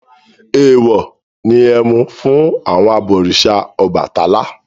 Èèwọ̀ ni ẹmu fún àwọn abọ̀rìṣà Ọbàtálá.